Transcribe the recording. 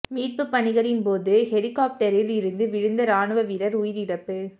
மீட்புப் பணிகளின் போது ஹெலிகொப்டரில் இருந்து விழுந்த இராணுவ வீரர் உயிரிழப்பு